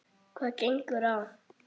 Hvað gengur á!